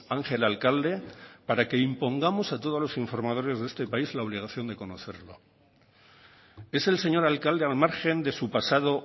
ángel alcalde para que impongamos a todos los informadores de este país la obligación de conocerlo es el señor alcalde al margen de su pasado